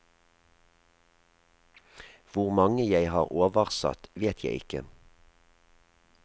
Hvor mange jeg har oversatt, vet jeg ikke.